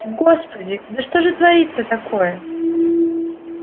господи да что же творится такое